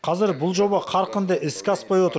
қазір бұл жоба қарқынды іске аспай отыр